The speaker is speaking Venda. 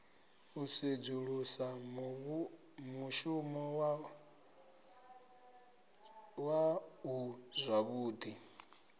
u sedzulusa mushumo waṋu zwavhuḓi